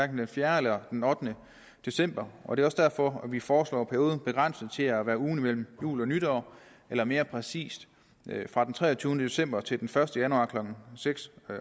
den fjerde eller den ottende december og det er også derfor at vi foreslår perioden begrænset til at være ugen mellem jul og nytår eller mere præcist fra den treogtyvende december til den første januar klokken seks